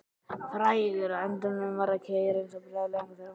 Frægur að endemum fyrir að keyra eins og brjálæðingur þegar hann var stressaður.